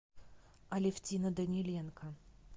алевтина даниленко